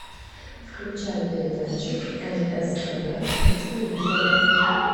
включай передачу нств на телевизоре